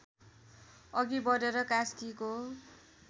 अघि बढेर कास्कीको